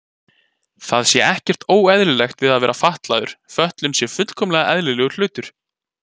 Það sé ekkert óeðlilegt við að vera fatlaður, fötlun sé fullkomlega eðlilegur hlutur.